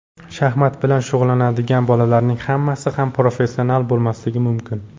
Shaxmat bilan shug‘ullanadigan bolalarning hammasi ham professional bo‘lmasligi mumkin.